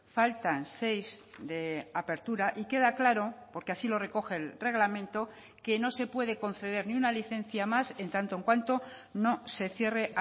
faltan seis de apertura y queda claro porque así lo recoge el reglamento que no se puede conceder ni una licencia más en tanto en cuanto no se cierre